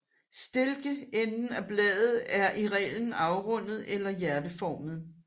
Stilkenden af bladet er i reglen afrundet eller hjerteformet